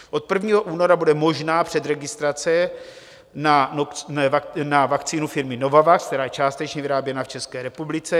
Od 1. února bude možná předregistrace na vakcínu firmy Novavax, která je částečně vyráběna v České republice.